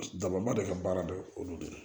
Daba de ka baara de olu de ye